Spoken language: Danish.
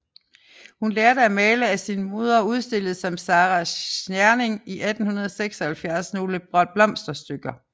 Hun lærte at male af sin moder og udstillede som Sara Tscherning i 1876 nogle blomsterstykker